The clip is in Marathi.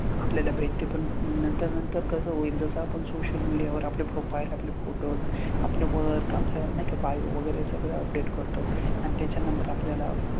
आपल्याला भेटते पण नंतर नंतर कसं होईल जसं आपण social media वर आपले profile, आपले photos, आपलं work, आपलं नाही का bio वगैरे सगळं update करतो आणि त्याच्या नंतर आपल्याला,